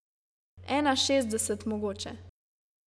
Ena šestdeset mogoče.